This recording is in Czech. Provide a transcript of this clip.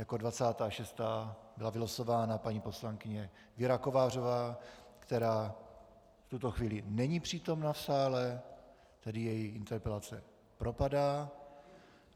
Jako 26. byla vylosována paní poslankyně Věra Kovářová, která v tuto chvíli není přítomna v sále, tedy její interpelace propadá.